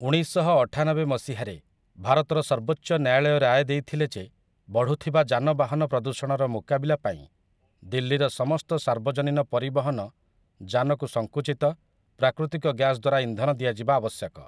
ଉଣେଇଶଶହଅଠାନବେ ମସିହାରେ, ଭାରତର ସର୍ବୋଚ୍ଚ ନ୍ୟାୟାଳୟ ରାୟ ଦେଇଥିଲେ ଯେ ବଢୁଥିବା ଯାନବାହନ ପ୍ରଦୂଷଣର ମୁକାବିଲା ପାଇଁ ଦିଲ୍ଲୀର ସମସ୍ତ ସାର୍ବଜନୀନ ପରିବହନ ଯାନକୁ ସଙ୍କୁଚିତ ପ୍ରାକୃତିକ ଗ୍ୟାସ ଦ୍ୱାରା ଇନ୍ଧନ ଦିଆଯିବା ଆବଶ୍ୟକ ।